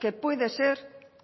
que puede ser